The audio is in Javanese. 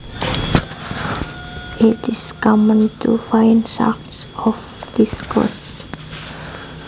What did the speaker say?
It is common to find sharks off this coast